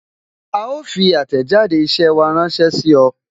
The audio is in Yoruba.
A ó fi àtẹ̀jáde isẹ wa ránsẹ́ sí ọ